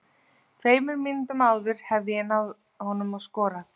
Tveimur mínútum áður hefði ég náð honum og skorað.